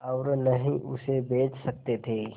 और न ही उसे बेच सकते थे